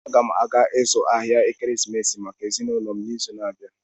Aga m aga ịzụ ahịa ekeresimesi maka ezinụlọ m n'izu na-abịa.